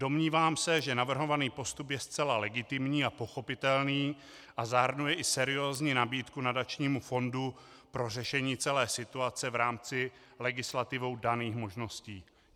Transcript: Domnívám se, že navrhovaný postup je zcela legitimní a pochopitelný a zahrnuje i seriózní nabídku nadačnímu fondu pro řešení celé situace v rámci legislativou daných možností.